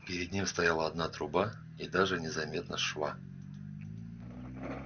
перед ним стояла одна труба и даже не заметно шва